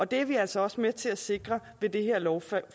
det er vi altså også med til at sikre med det her lovforslag